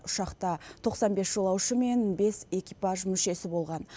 ұшақта тоқсан бес жолаушы мен бес экипаж мүшесі болған